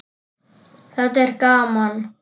Þetta er gaman.